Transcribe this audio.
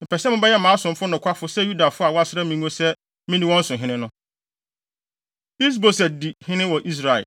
mepɛ sɛ mobɛyɛ mʼasomfo nokwafo sɛ Yudafo a wɔasra me ngo sɛ minni wɔn so hene no.” Is-Boset Di Hene Wɔ Israel